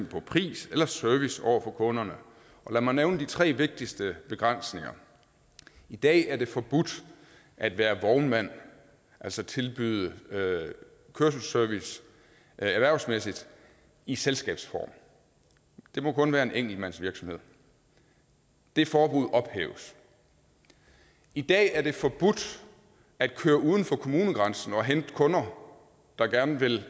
på pris eller service over for kunderne og lad mig nævne de tre vigtigste begrænsninger i dag er det forbudt at være vognmand altså tilbyde kørselsservice erhvervsmæssigt i selskabsform det må kun være en enkeltmandsvirksomhed det forbud ophæves i dag er det forbudt at køre uden for kommunegrænsen og hente kunder der gerne vil